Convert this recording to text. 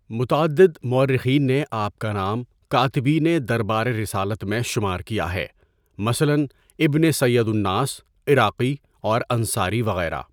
متعدد موٴرخین نے آپ کا نام کاتبینِ دربار رسالت میں شمار کیا ہے، مثلا ابن سیدا لناس، عراقی اور انصاری وغیرہ.